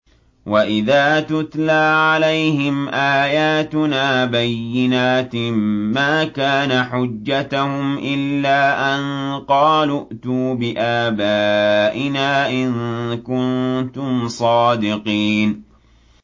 وَإِذَا تُتْلَىٰ عَلَيْهِمْ آيَاتُنَا بَيِّنَاتٍ مَّا كَانَ حُجَّتَهُمْ إِلَّا أَن قَالُوا ائْتُوا بِآبَائِنَا إِن كُنتُمْ صَادِقِينَ